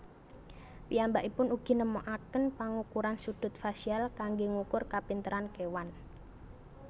Piyambakipun ugi nemokaken pangukuran sudut fasial kanggé ngukur kapinteran kéwan